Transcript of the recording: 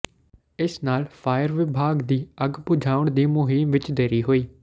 ਇਸ ਨਾਲ ਫਾਇਰ ਵਿਭਾਗ ਦੀ ਅੱਗ ਬੁਝਾਉਣ ਦੀ ਮੁਹਿੰਮ ਵਿਚ ਦੇਰੀ ਹੋਈ